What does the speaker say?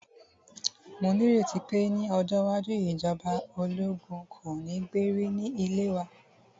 Mó ní ìrètí pé ní ọjọ́ iwájú, ìjọba ológun kò ní gbé rí ní ilẹ̀ wa.